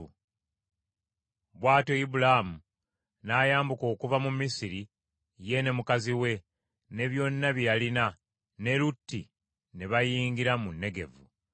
Bw’atyo Ibulaamu n’ayambuka okuva mu Misiri ye ne mukazi we, ne byonna bye yalina, ne Lutti ne bayingira mu Negevu.